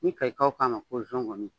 I kayikaw k'a ko .